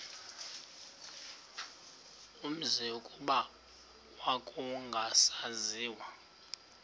umzi kuba kwakungasaziwa